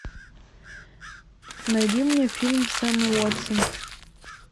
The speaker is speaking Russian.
найди мне фильм с эммой уотсон